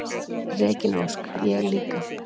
Regína Ósk: Ég líka.